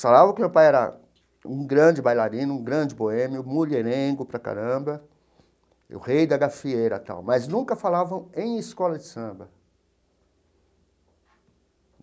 Falavam que meu pai era um grande bailarino, um grande boêmio, mulherengo para caramba, o rei da gafieira e tal, mas nunca falavam em escola de samba.